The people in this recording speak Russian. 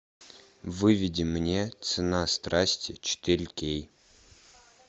выведи мне цена страсти четыре кей